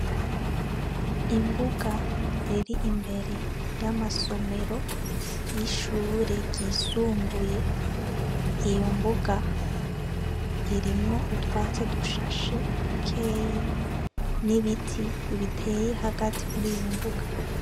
Imbuga iri imbere y'amasomero ,y'ishure ryisumbuye, iyo mbuga, irimwo utwatsi dushashe ,dukeyi ,n'ibiti biteye hagati muriyo mbuga.